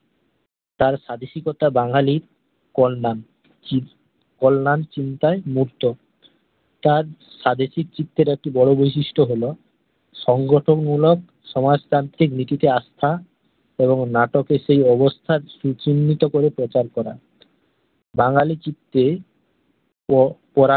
চি চিত্রের একটু বড় বৈশিষ্ট্য হল সংগঠন মুলক সমাজতান্ত্রিক নীতিতে আস্থা এবং নাটকের সেই অবস্থা সুচিন্নিত করে প্রচার করা বাঙ্গালি চিত্রে ও পড়া